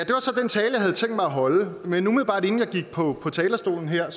havde tænkt mig at holde men umiddelbart inden jeg gik på talerstolen her